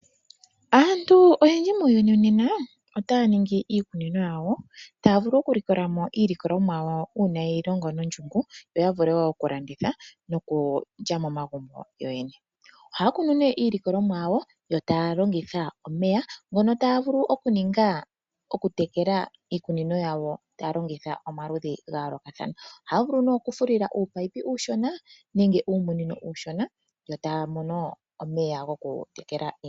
Aantu oyendji muuyuni nena otaya ningi iikunino yawo taya vulu okulikola mo iilikolwamo yawo uuna yalongo nondjungu yo yavule wo okulanditha nokulya momagumbo yo yene. Ohaakunu nee iilikolwa mo yawo yo taya longithwa omeya ngono taya vulu okuninga okutekela iikunino yawo taya longitha omaludhi ga yoolokathana. Ohaya vulu nee okufulila uupipe uushona nenge uumunino uushona yo taya mono omeya gokutekela iimeno.